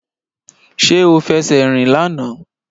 Ṣé o fẹsẹ̀ rìn lánàá